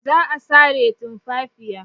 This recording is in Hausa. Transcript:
Za a sare tumfafiya.